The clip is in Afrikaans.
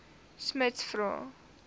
smuts vra